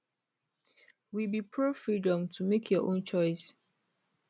we be profreedom to make your own choice